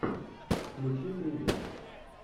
включи триллер